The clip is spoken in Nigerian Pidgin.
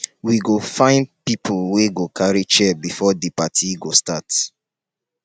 we go find pipo wey go carry chair before di party go start.